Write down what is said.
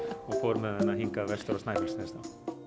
og fór með hana hingað vestur á Snæfellsnes þá